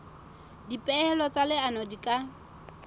dipehelo tsa leano di ka